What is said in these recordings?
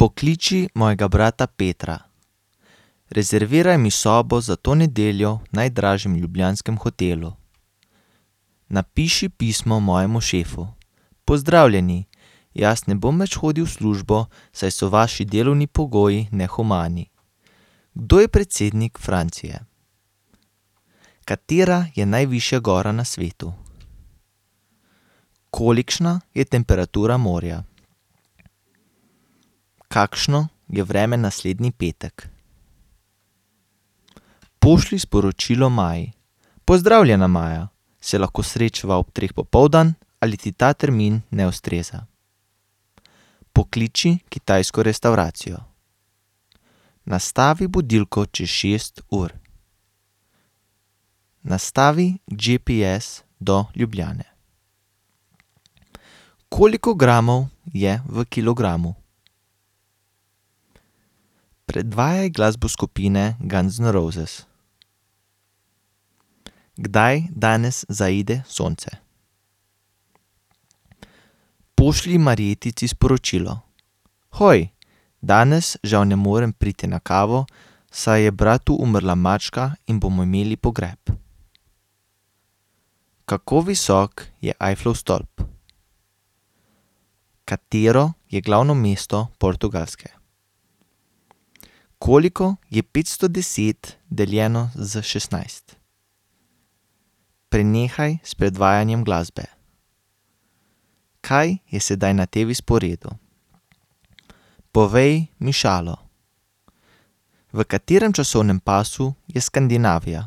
Pokliči mojega brata Petra. Rezerviraj mi sobo za to nedeljo v najdražjem ljubljanskem hotelu. Napiši pismo mojemu šefu: Pozdravljeni, jaz ne bom več hodili v službo, saj so vaši delovni pogoji nehumani. Kdo je predsednik Francije? Katera je najvišja gora na svetu? Kolikšna je temperatura morja? Kakšno je vreme naslednji petek? Pošlji sporočilo Maji: Pozdravljena, Maja! Se lahko srečava ob treh popoldan ali ti ta termin ne ustreza? Pokliči kitajsko restavracijo. Nastavi budilko čez šest ur. Nastavi GPS do Ljubljane. Koliko gramov je v kilogramu? Predvajaj glasbo skupine Guns N' Roses. Kdaj danes zaide sonce? Pošlji Marjetici sporočilo: Hoj! Danes žal ne morem priti na kavo, saj je bratu umrla mačka in bomo imeli pogreb. Kako visok je Eifflov stolp? Katero je glavno mesto Portugalske? Koliko je petsto deset deljeno s šestnajst? Prenehaj s predvajanjem glasbe. Kaj je sedaj na TV-sporedu? Povej mi šalo. V katerem časovnem pasu je Skandinavija?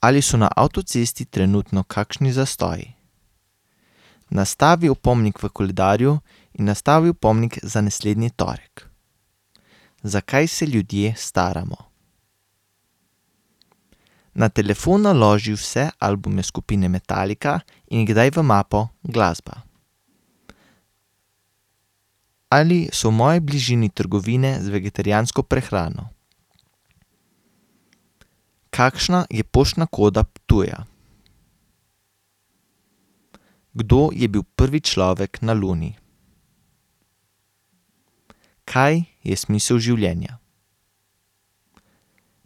Ali so na avtocesti trenutno kakšni zastoji? Nastavi opomnik v koledarju in nastavi opomnik za naslednji torek. Zakaj se ljudje staramo? Na telefon naloži vse albume skupine Metallica in jih daj v mapo Glasba. Ali so v moji bližini trgovine z vegetarijansko prehrano? Kakšna je poštna koda Ptuja? Kdo je bil prvi človek na Luni? Kaj je smisel življenja?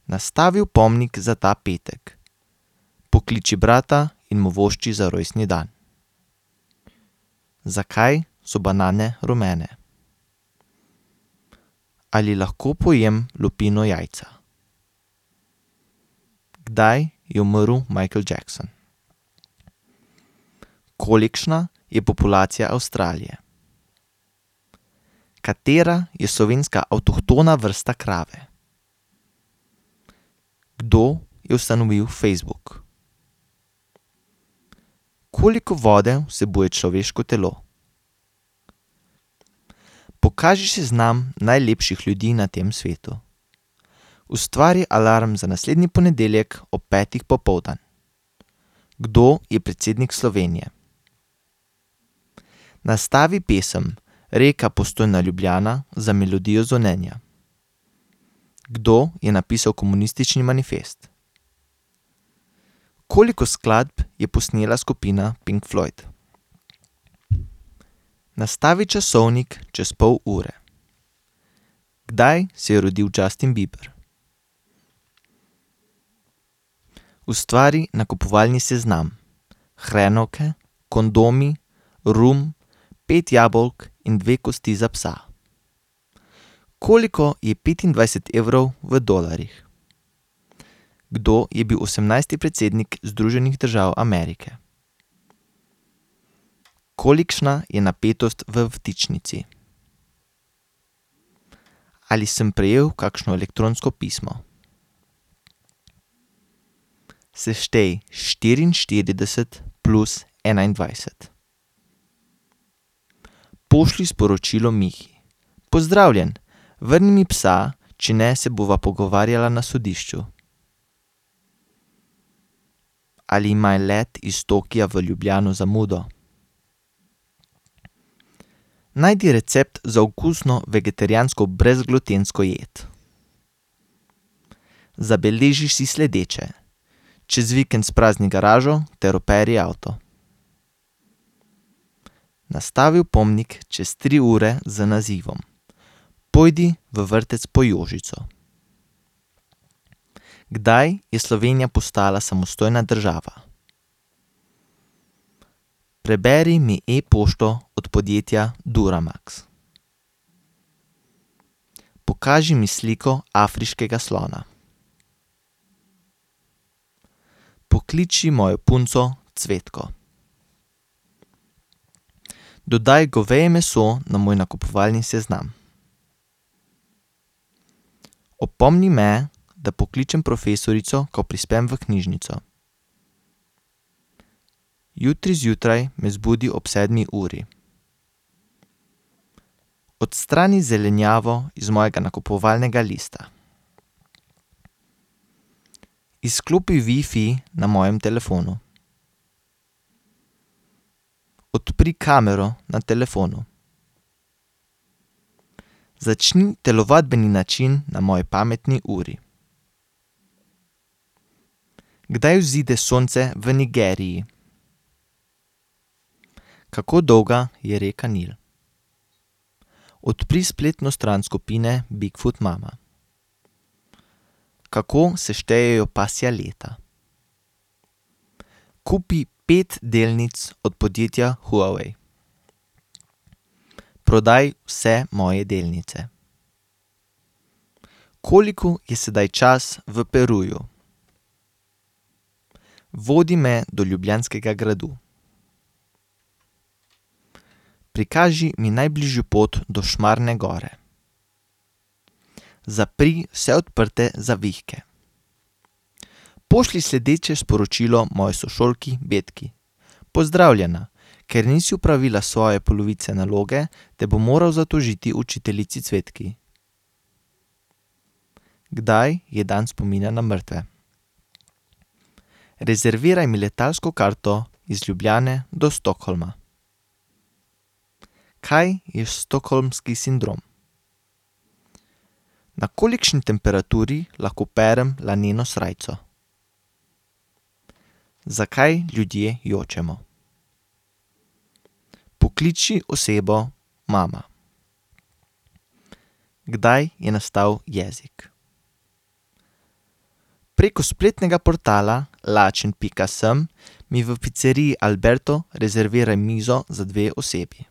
Nastavi opomnik za ta petek. Pokliči brata in mu vošči za rojstni dan. Zakaj so banane rumene? Ali lahko pojem lupino jajca? Kdaj je umrl Michael Jackson? Kolikšna je populacija Avstralije? Katera je slovenska avtohtona vrsta krave? Kdo je ustanovil Facebook? Koliko vode vsebuje človeško telo? Pokaži seznam najlepših ljudi na tem svetu. Ustvari alarm za naslednji ponedeljek ob petih popoldan. Kdo je predsednik Slovenije? Nastavi pesem Reka, Postojna, Ljubljana za melodijo zvonjenja. Kdo je napisal Komunistični manifest? Koliko skladb je posnela skupina Pink Floyd? Nastavi časovnik čez pol ure. Kdaj se je rodil Justin Bieber? Ustvari nakupovalni seznam: hrenovke, kondomi, rum, pet jabolk in dve kosti za psa. Koliko je petindvajset evrov v dolarjih? Kdo je bil osemnajsti predsednik Združenih držav Amerike? Kolikšna je napetost v vtičnici? Ali sem prejel kakšno elektronsko pismo? Seštej: štiriinštirideset plus enaindvajset. Pošlji sporočilo Mihi: Pozdravljen! Vrni mi psa, če ne se bova pogovarjala na sodišču. Ali ima let iz Tokia v Ljubljano zamudo? Najdi recept za okusno vegetarijansko brezglutensko jed. Zabeleži si sledeče: čez vikend sprazni garažo ter operi avto. Nastavi opomnik čez tri ure z nazivom. Pojdi v vrtec po Jožico. Kdaj je Slovenija postala samostojna država? Preberi mi e-pošto od podjetja Duramax. Pokaži mi sliko afriškega slona. Pokliči mojo punco Cvetko. Dodaj goveje meso na moj nakupovalni seznam. Opomni me, da pokličem profesorico, ko prispem v knjižnico. Jutri zjutraj me zbudi ob sedmi uri. Odstrani zelenjavo z mojega nakupovalnega lista. Izklopi wifi na mojem telefonu. Odpri kamero na telefonu. Začni telovadbeni način na moji pametni uri. Kdaj vzide sonce v Nigeriji? Kako dolga je reka Nil? Odpri spletno stran skupine Big Foot Mama. Kako se štejejo pasja leta? Kupi pet delnic od podjetja Huawei. Prodaj vse moje delnice. Koliko je sedaj čas v Peruju? Vodi me do Ljubljanskega gradu. Prikaži mi najbližjo pot do Šmarne gore. Zapri vse odprte zavihke. Pošlji sledeče sporočilo moji sošolki Betki: Pozdravljena! Ker nisi opravila svoje polovice naloge, te bom moral zatožiti učiteljici Cvetki. Kdaj je dan spomina na mrtve? Rezerviraj mi letalsko karto iz Ljubljane do Stockholma. Kaj je stockholmski sindrom? Na kolikšni temperaturi lahko perem laneno srajco? Zakaj ljudje jočemo? Pokliči osebo Mama. Kdaj je nastal jezik? Preko spletnega portala lačen pika sem mi v piceriji Alberto rezerviraj mizo za dve osebi.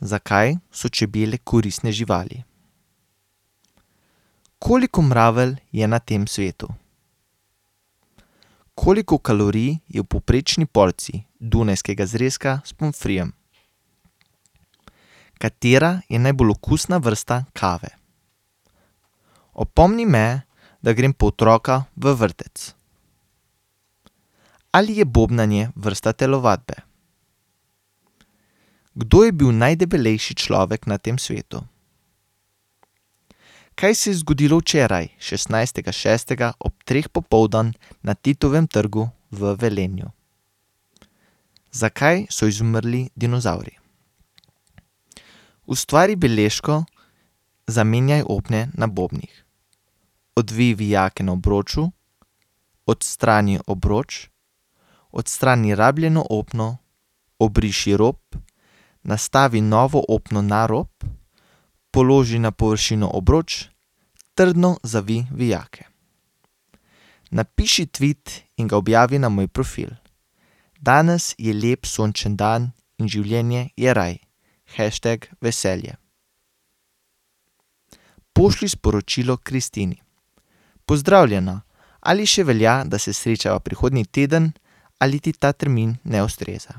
Zakaj so čebele koristne živali? Koliko mravelj je na tem svetu? Koliko kalorij je v povprečni porciji dunajskega zrezka s pomfrijem? Katera je najbolj okusna vrsta kave? Opomni me, da grem po otroka v vrtec. Ali je bobnanje vrsta telovadbe? Kdo je bil najdebelejši človek na tem svetu? Kaj se je zgodilo včeraj, šestnajstega šestega ob treh popoldan na Titovem trgu v Velenju? Zakaj so izumrli dinozavri? Ustvari beležko: Zamenjaj opne na bobnih. Odvij vijake na obroču, odstrani obroč, odstrani rabljeno opno, obriši rob, nastavi novo opno na rob, položi na površino obroč, trdno zavij vijake. Napiši tvit in ga objavi na moj profil: Danes je lep sončen dan in življenje je raje. Hashtag veselje. Pošlji sporočilo Kristini: Pozdravljena! Ali še velja, da se srečava prihodnji teden, ali ti ta termin ne ustreza?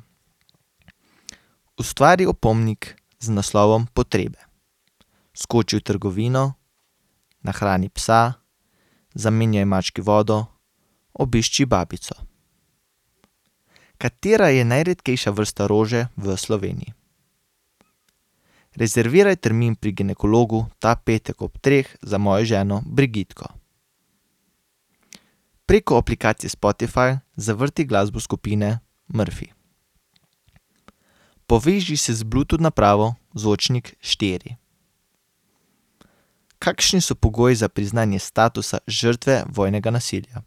Ustvari opomnik z naslovom Potrebe. Skoči v trgovino, nahrani psa, zamenjaj mački vodo, obišči babico. Katera je najredkejša vrsta rože v Sloveniji? Rezerviraj termin pri ginekologu ta petek ob treh za mojo ženo. Preko aplikacije Spotify zavrti glasbo skupine Murphy. Poveži se z Bluetooth napravo Zvočnik štiri. Kakšni so pogoji za priznanje statusa vojnega žrtve nasilja?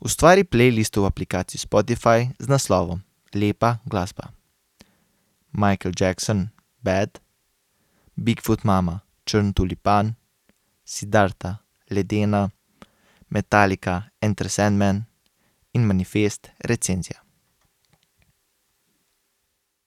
Ustvari playlisto v aplikaciji Spotify z naslovom Lepa glasba. Michael Jackson: Bad, Big Foot Mama: Črn tulipan, Siddharta: Ledena, Metallica: Enter Sandman in Manifest: Recenzija.